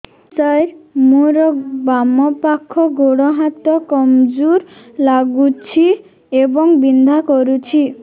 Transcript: ସାର ମୋର ବାମ ପାଖ ଗୋଡ ହାତ କମଜୁର ଲାଗୁଛି ଏବଂ ବିନ୍ଧା କରୁଛି